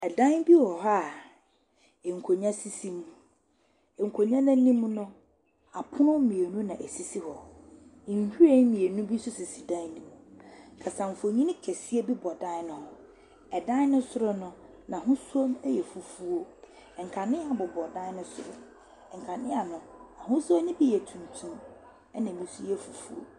Adan bi wɔhɔ a nkonwa sisi mu. Nkonwa n'anim no, apono mmienu na esisi hɔ. Nhwiren mmienu bi so sisi dan ne mu. Kasamfoni kɛseɛ bi bɔ dan ne ho. Ɛdan ne soro no n'ahosuo no ɛyɛ fufuo. Nkanea bobɔ ɛdan ne soro. Nkanea no ahosuo no bi yɛ tuntum, ɛna ebi nso yɛ fufuo.